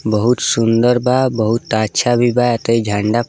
बहुत सुन्दर बा बहुत अच्छा भी बा ऐते झण्डा --